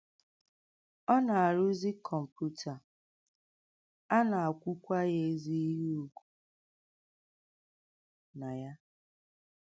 Ọ nà-àrụ̀zì kọ̀m̀pútà, à nà-àkwùkwà ya ézì íhè ùgwù nà ya.